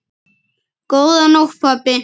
Góða nótt pabbi.